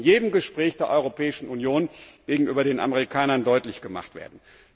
Das muss in jedem Gespräch der Europäischen Union gegenüber den Amerikanern deutlich gemacht werden.